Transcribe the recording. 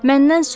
Məndən sor.